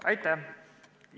Aitäh!